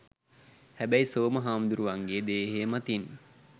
හැබැයි සෝම හාමුදුරුවන්ගේ දේහය මතින්